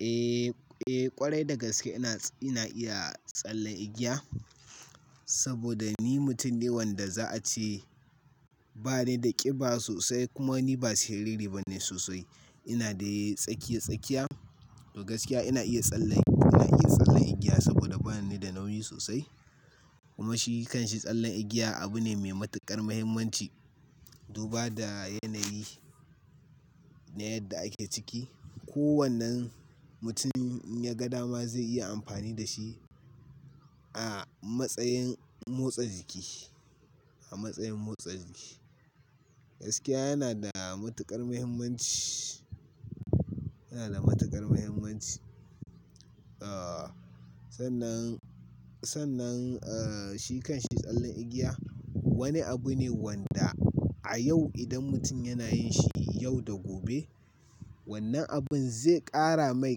Eh, ƙwarai da gaske ina iya tsalle igiya saboda ni mutum ne wanda za a ce ba ni da ƙiba sosai. Kuma ni ba siriri ba ne sosai. Ina da tsakiya-tsakiya. Da gaskiya ina iya tsalle igiya saboda ba ni da nauyi sosai. Kuma shi kan shi tsalle igiya abu ne mai matuƙar muhimmanci. Duba da yanayi na yadda ake ciki. Ko wannan mutum ya ga dama zai iya amfani da shi a matsayin motsa jiki. Gaskiya yana da matuƙar muhimmanci. Sannan shi kan shi tsalle igiya wani abu ne wanda a yau idan mutum yana yin shi yau da gobe, wannan abin zai ƙara mai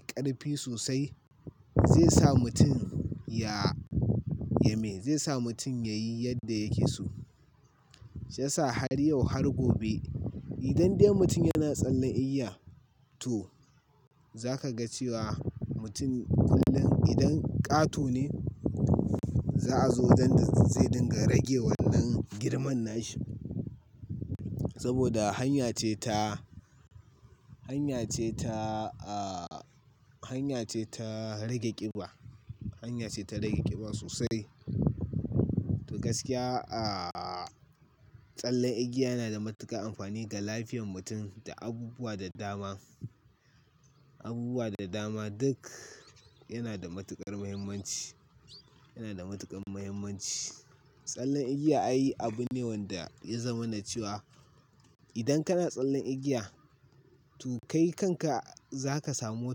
ƙarfi sosai, zai sa mutum ya yi yadda yake so. Shi ya sa har yau har gobe idan dai mutum yana tsalle igiya to za ka ga cewa mutum kullum idan ƙato ne za a zo wajen da zai dinga rage wannan girman nashi. Saboda hanya ce ta rage ƙiba sosai. Da gaskiya tsalle igiya yana da matuƙar amfani ga lafiyar mutum da abubuwa da dama. Duk yana da matuƙar muhimmanci. Tsalle igiya abune wanda ya zama na cewa idan kana tsalle igiya to kai kanka za ka samu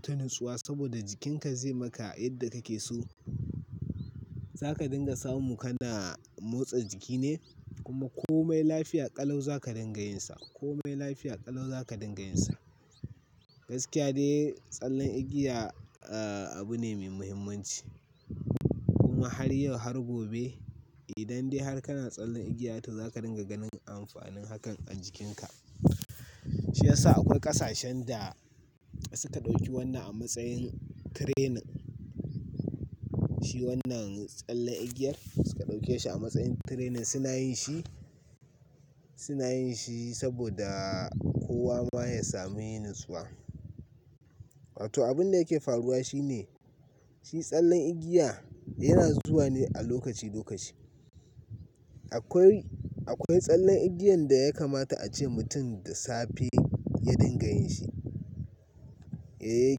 tonuswa saboda jikinka zai maka yadda kake so. Za ka dinga samu kana motsa jiki ne kuma komai lafiya ƙalau za ka dinga yin sa. Gaskiya dai tsalle igiya abu ne mai muhimmanci. Kuma har yau har gobe idan dai har kana tsalle igiya to za ka dinga ganin amfanin hakan a jikinka. Shi ya sa akwai ƙasashen da suka ɗauki wannan a matsayin training. Wannan tsalle igiyar suka ɗauke shi a matsayin training suna yin shi saboda kowa ma ya samu yin natsuwa. To abin da yake faruwa shine shi tsalle igiya yana zuwa ne a lokaci-lokaci. Akwai tsalle igiyan da ya kamata a ce mutum da safe ya dinga yin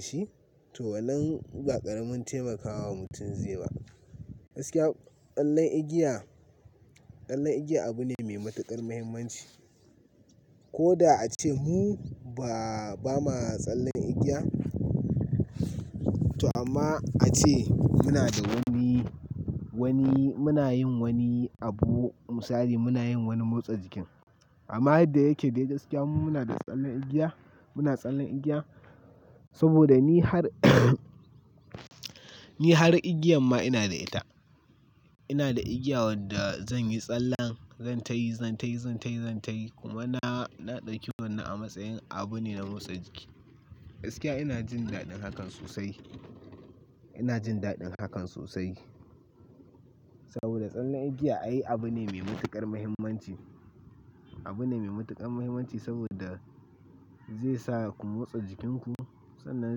shi to wannan ba ƙaramin taimakawa mutum zai ba. Gaskiya tsalle igiya abu ne mai matuƙar muhimmanci. Ko da a ce mu ba ma tsalle igiya to amma a ce muna da wani misali muna yin wani motsa jiki. Amma yadda yake dai gaskiya mu muna tsalle igiya saboda ni har igiyan ma ina da ita. Ina da igiya wadda zan yi tsalle zan tayi kuma na ɗauki wannan a matsayin abu ne na motsa jiki. Gaskiya ina jin daɗin hakan sosai saboda tsalle igiya abune mai matuƙar muhimmanci saboda zai sa ku motsa jikinku sannan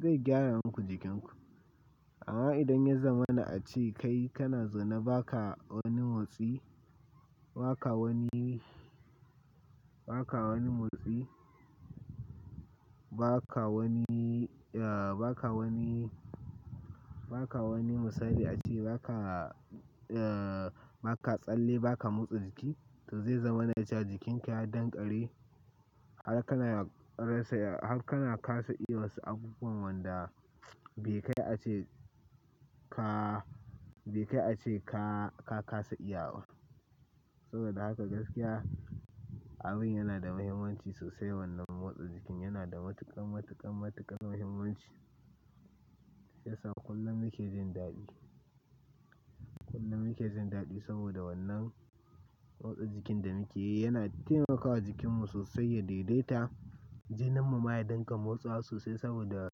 zai gyara muku jikinku. Amma idan ya zama na a ce kai kana zaune ba ka wani motsi, ba ka wani misali a ce ba ka tsalle ba ka motsa jiki to zai zama na cewa jikinka ya dangari har kana ka sa iya wasu abubuwan wadda be kai a ce ka ka sa iya. Saboda haka gaskiya abun yana da muhimmanci sosai wannan motsa jikin yana da matuƙar muhimmanci. Shi ya sa kullum muke jin daɗi saboda wannan motsa jikin da muke yi yana taimakawa jikinmu sosai ya daidaita. Jininmu ma ya dinga motsawa sosai saboda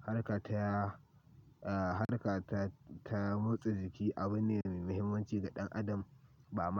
harka ta motsa jiki abu ne mai muhimmanci ga ɗan adam ba ma.